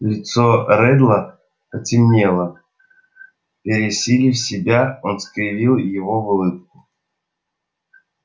лицо реддла потемнело пересилив себя он скривил его в улыбку